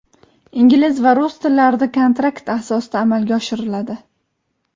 ingliz va rus tillarida kontrakt asosida amalga oshiriladi.